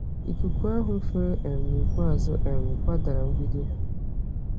Ikuku ahụ fèrè um n'ikpeazụ um kwadara mgbidi ha